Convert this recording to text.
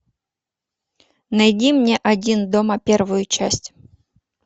найди мне один дома первую часть